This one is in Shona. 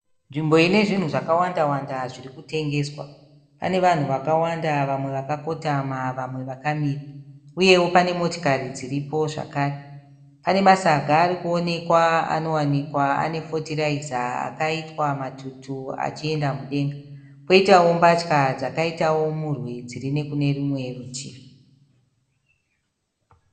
Nzvimbo ine zvinhu zvakawandawanda zviri kutengeswa pane vanhu vakawanda vamwe vakakotama vamwe vakamira uyewo pane motikari dziripowo zvakare pane masaga ari kuonekwa anowanikwa ane fotiraiza akaitwa matutu achienda mudenga koitawo mbatya dzakaitawo murwi dziri nekune rumwe rutivi.